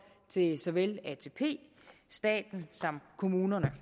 til såvel atp staten som kommunerne